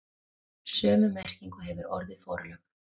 Sömu merkingu hefur orðið forlög.